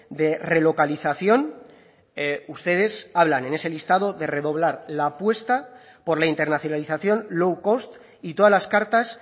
de relocalización ustedes hablan en ese listado de redoblar la apuesta por la internacionalización low cost y todas las cartas